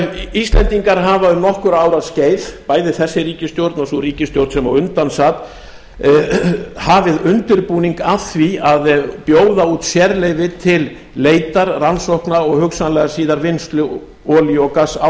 íslendingar hafa um nokkurra ára skeið bæði þessi ríkisstjórn og sú ríkisstjórn sem á undan sat hafið undirbúning að því að bjóða út sérleyfi til leitar rannsókna og hugsanlega síðar vinnslu olíu og gass á